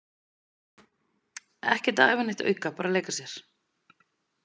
Ekkert að æfa neitt auka, bara að leika sér.